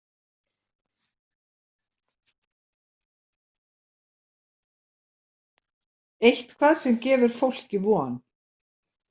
Eitthvað sem gefur fólki von.